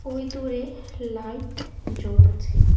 ওই দূরে লাইট জ্বলছে।